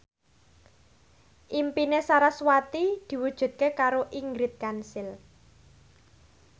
impine sarasvati diwujudke karo Ingrid Kansil